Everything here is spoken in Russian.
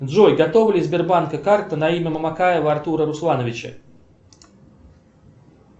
джой готова ли сбербанка карта на имя мамакаева артура руслановича